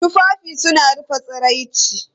Tufafi suna rufe tsiraici.